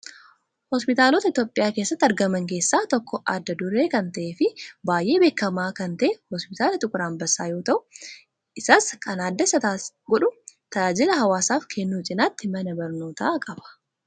Hospitaalota Itoophiyaa keessatti argaman keessaa tokko adda duree kan ta'ee fi baay'ee beekamaa kan ta'e hospitaala Xiquur Anbassaa yoo ta'u, isas kan adda isa godhu tajaajila hawaasaaf kennu cinaatti mana barnootaa qaba.